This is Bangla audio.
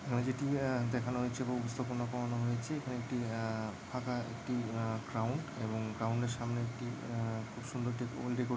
এখানে যেটি আহ দেখানো হয়েছে এবং উপস্থাপনা করানো হয়েছে এখানে একটি আহ ফাঁকা একটি আহ গ্রাউন্ড এবং গ্রাউন্ডের সামনে একটি আহ খুব সুন্দর একটি --